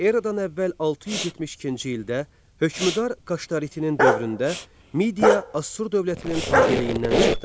Eradan əvvəl 672-ci ildə hökmdar Qaştarinin dövründə Midiya Assur dövlətinin tabeliyindən çıxdı.